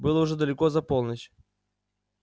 было уже далеко за полночь